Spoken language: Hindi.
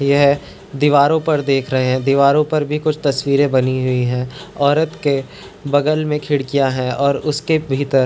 यह दीवारों पर देख रहे हैं दीवारों पर भी कुछ तस्वीरें बनी हुई है औरत के बगल में खिड़कियाँ हैं और उसके भीतर --